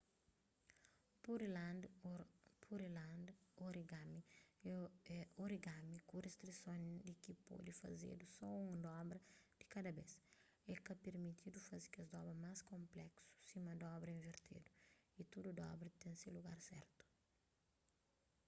pureland origami é origami ku ristrison di ki pode fazedu so un dobra di kada bes é ka pirmitidu faze kes dobras más konpleksu sima dobra invertedu y tudu dobra ten se lugar sertu